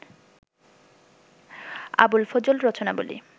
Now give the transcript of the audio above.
Abul Fazl Rachanabali